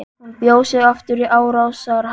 Hún bjó sig aftur í árásarham.